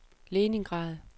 Leningrad